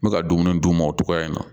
N bɛ ka dumuni d'u ma o togoya in na